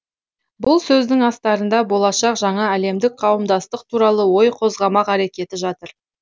бұл сөздің астарында болашақ жаңа әлемдік қауымдастық туралы ой қозғамақ әрекеті жатыр